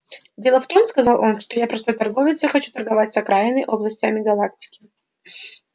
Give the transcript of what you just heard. дело в том сказал он что я простой торговец и хочу торговать с окраинными областями галактики